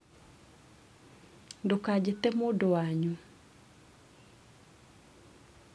ndũkajĩte mũndũ wanyu